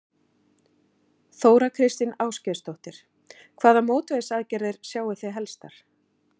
Þóra Kristín Ásgeirsdóttir: Hvaða mótvægisaðgerðir sjái þið helstar?